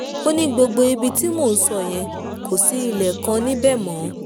ó ní gbogbo ibi tí mò ń sọ yẹn kò sí ilé kan níbẹ̀ mọ́ o